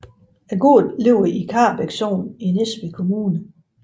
Gården ligger i Karrebæk Sogn i Næstved Kommune